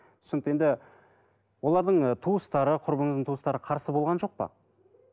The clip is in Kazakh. түсінікті енді олардың ы туыстары құрбыңыздың туыстары қарсы болған жоқ па